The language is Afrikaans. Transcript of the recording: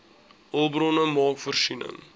hulpbronne maak voorsiening